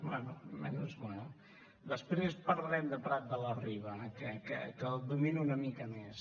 bé menys mal després parlarem de prat de la riba que el domino una mica més